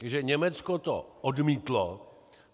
Takže Německo to odmítlo.